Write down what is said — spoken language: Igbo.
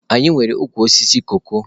Anyị nwere ukwu osisi koko.